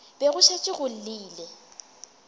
be go šetše go llile